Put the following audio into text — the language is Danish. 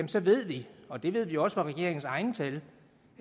så ved vi og det ved vi også fra regeringens egne tal